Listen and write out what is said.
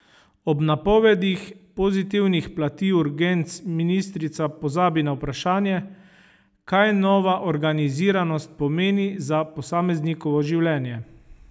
Ob napovedih pozitivnih plati urgenc ministrica pozabi na vprašanje, kaj nova organiziranost pomeni za posameznikovo življenje.